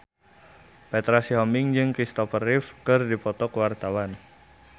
Petra Sihombing jeung Kristopher Reeve keur dipoto ku wartawan